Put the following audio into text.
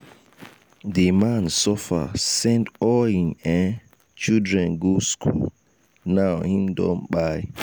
di man suffer send all him um children go skool now him don kpai.